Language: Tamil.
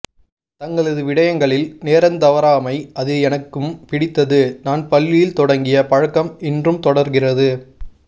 தங்களது விடயங்களில் நேரந்தவறாமை அது எனக்கும் பிடித்தது நான் பள்ளியில் தொடங்கிய பழக்கம் இன்றும் தொடர்கிறது